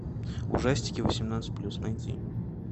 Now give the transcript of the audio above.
ужастики восемнадцать плюс найти